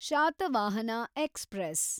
Satavahana express